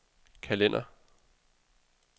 kalender